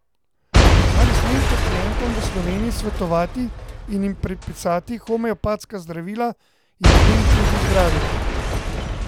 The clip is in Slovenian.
Ali smem pacientom v Sloveniji svetovati in jim predpisati homeopatska zdravila, jih z njimi tudi zdraviti?